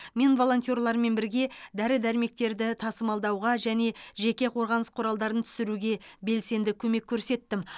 мен волонтерлармен бірге дәрі дәрмектерді тасымалдауға және жеке қорғаныс құралдарын түсіруге белсенді көмек көрсеттім